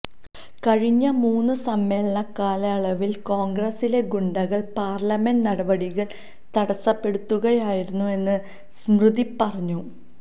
കഴിഞ്ഞ മൂന്ന് സമ്മേളനകാലയളവിൽ കോൺഗ്രസിലെ ഗുണ്ടകൾ പാർലമെന്റ് നടപടികൾ തടസ്സപ്പെടുത്തുകയായിരുന്നെന്ന് സ്മൃതി പറഞ്ഞു